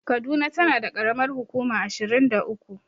Kaduna tana da ƙaramar hukuma ashirin da uku.